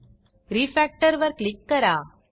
refactor वर click करा